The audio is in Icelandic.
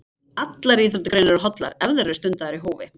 Allar íþróttagreinar eru hollar ef þær eru stundaðar í hófi.